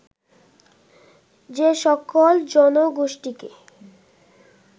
যে সকল জনগোষ্ঠীকে